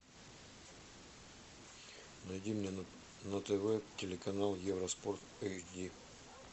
найди мне на тв телеканал евроспорт эйч ди